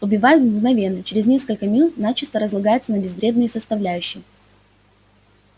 убивает мгновенно через несколько минут начисто разлагается на безвредные составляющие